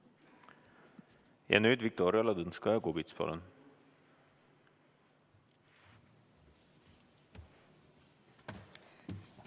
Ja nüüd Viktoria Ladõnskaja-Kubits, palun!